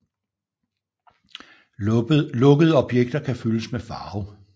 Lukkede objekter kan fyldes med farve